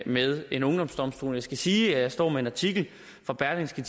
med en ungdomsdomstol men jeg skal sige at jeg står med en artikel fra berlingske